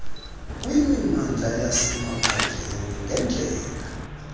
kwimimandla yasemaphandleni ngeendlela